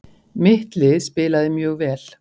Mitt lið spilaði mjög vel.